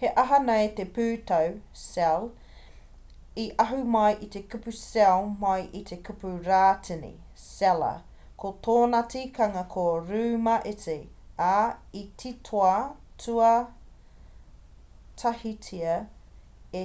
he aha nei te pūtau cell? i ahu mai te kupu cell mai i te kupu rātini cella ko tōna tikanga ko rūma iti ā i titoa tuatahitia